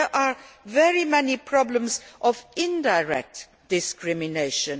But there are very many problems of indirect discrimination.